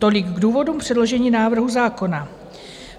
Tolik k důvodům předložení návrhu zákona.